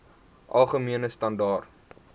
algemene standaar